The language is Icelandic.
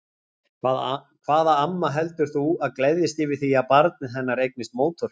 Hvaða amma heldur þú að gleðjist yfir því að barnið hennar eignist mótorhjól?